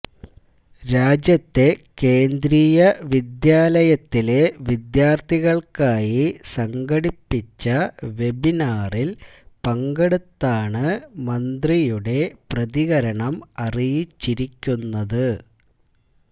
രാജ്യത്തെ കേന്ദ്രിയ വിദ്യാലയത്തിലെ വിദ്യാർത്ഥികൾക്കായ് സംഘടിപ്പിച്ച വെബിനാറിൽ പങ്കെടുത്താണ് മന്ത്രിയുടെ പ്രതികരണം അറിയിച്ചിരിക്കുന്നത്